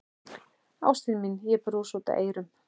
Ástin mín, ég brosi út að eyrum.